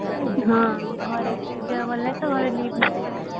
ହଁ ଘରେ ଦେହ ଭଲ ନାହିଁ ତ leave ନେଇ ପଳେଈ ଆସିଛି